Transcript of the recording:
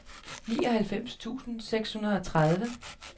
nioghalvfems tusind seks hundrede og tredive